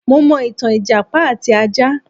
Mo mọ̀ ìtàn ìjàpá àti ajá.